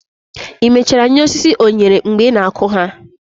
i mechara nye osisi onyere mgbe ị na-akụ ha?